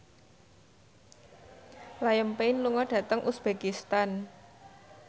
Liam Payne lunga dhateng uzbekistan